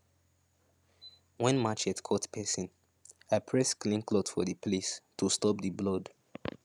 when machete cut person i press clean cloth for the place to stop the blood